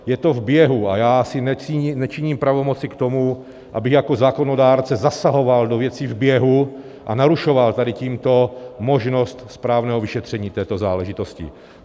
Je to v běhu a já si nečiním pravomoci k tomu, abych jako zákonodárce zasahoval do věcí v běhu a narušoval tady tímto možnost správného vyšetření této záležitosti.